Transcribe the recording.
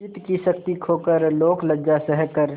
चित्त की शक्ति खोकर लोकलज्जा सहकर